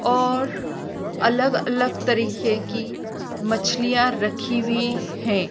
और अलग अलग तरीके की मछलियां रखी हुई हैं।